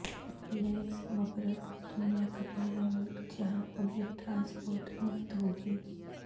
legs مبرگ دنیا کا پہلا ملک جہاں پبلک ٹرانسپورٹ مفت ہوگی